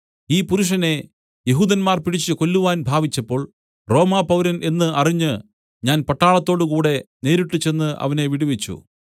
ഈ പുരുഷനെ യെഹൂദന്മാർ പിടിച്ച് കൊല്ലുവാൻ ഭാവിച്ചപ്പോൾ റോമാപൗരൻ എന്ന് അറിഞ്ഞ് ഞാൻ പട്ടാളത്തോടുകൂടെ നേരിട്ടു ചെന്ന് അവനെ വിടുവിച്ചു